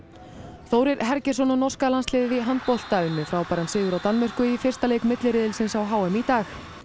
Þórir Hergeirsson og norska landsliðið í handbolta vann frábæran sigur á Danmörku í fyrsta leik milliriðilsins á h m í dag